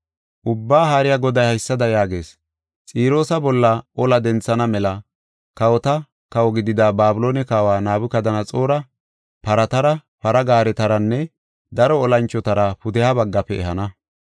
“Ubbaa Haariya Goday haysada yaagees: ‘Xiroosa bolla ola denthana mela kawota kawo gidida Babiloone kawa Nabukadanaxoora, paratara, para gaaretaranne daro olanchotara pudeha baggafe ehana.